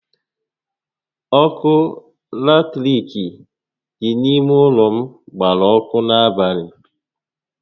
Ọkụ latirik dị n'ime ụlọ gbara ọkụ n'abalị